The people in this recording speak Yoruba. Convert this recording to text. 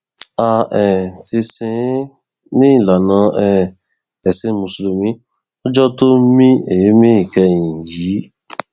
a um ti sìn ín ní ìlànà um ẹsìn mùsùlùmí lọjọ tó mí èémí ìkẹyìn yìí